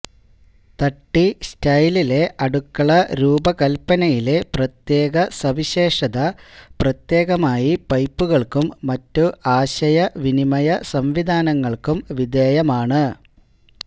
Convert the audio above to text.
തട്ടി സ്റ്റൈലിലെ അടുക്കള രൂപകൽപ്പനയിലെ പ്രത്യേക സവിശേഷത പ്രത്യേകമായി പൈപ്പുകൾക്കും മറ്റ് ആശയവിനിമയ സംവിധാനങ്ങൾക്കും വിധേയമാണ്